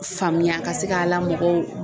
Faamuya ka se k'a la mɔgɔw